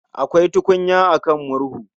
Akwai tukunya a kan murhu